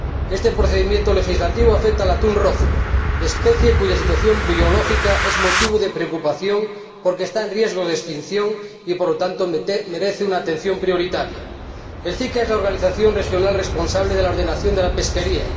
Este procedimiento legislativo afecta al atún rojo, especie cuya situación biológica es motivo de preocupación porque está en riesgo de extinción y, por lo tanto, merece una atención prioritaria. La CICAA es la organización regional responsable de la ordenación de la pesquería.